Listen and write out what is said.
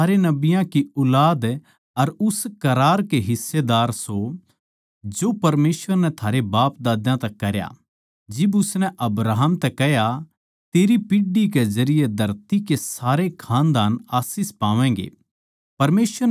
थम सारे नबियाँ की ऊलाद अर उस करार के हिस्सेदार सो जो परमेसवर नै थारै बापदाद्यां तै करया जिब उसनै अब्राहम तै कह्या तेरी पीढ़ी के जरिये धरती के सारे खानदान आशीष पावैगें